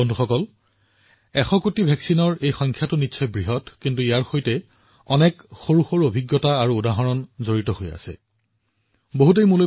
বন্ধুসকল ১০০ কোটিৰ প্ৰতিষেধকৰ পৰিমাণটো বহুত ডাঙৰ কিন্তু ইয়াৰ সৈতে এনে বহুতো অভিজ্ঞতা আছে বহুতো উদাহৰণ আছে যি লাখ লাখ সৰু সৰু অনুপ্ৰেৰণা আৰু গৌৰৱেৰে ভৰা